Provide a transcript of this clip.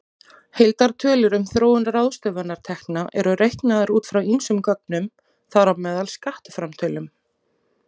Heildartölur um þróun ráðstöfunartekna eru reiknaðar út frá ýmsum gögnum, þar á meðal skattframtölum.